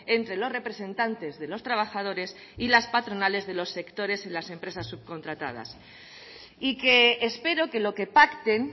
entre los representantes de los trabajadores y las patronales de los sectores en las empresas subcontratadas y que espero que lo que pacten